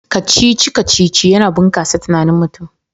Kacici-kacici yana bunkasa tunanin mutum